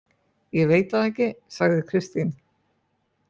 Ég veit það ekki, sagði Kristín.